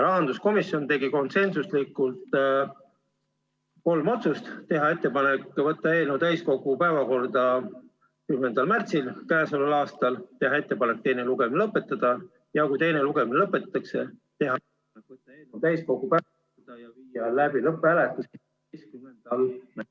Rahanduskomisjon tegi konsensusega kolm otsust: teha ettepanek võtta eelnõu täiskogu päevakorda 10. märtsiks, teha ettepanek teine lugemine lõpetada ja kui teine lugemine lõpetatakse, teha ettepanek võtta eelnõu täiskogu päevakorda ja viia läbi lõpphääletus 11. märtsil.